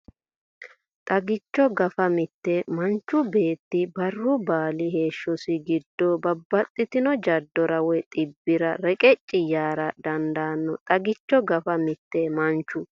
Xagicho Gafa Mite Manchu beetti barru baali heeshshosi giddo babbaxxitino jaddora woy dhibbira reqecci yaara dandanno Xagicho Gafa Mite Manchu.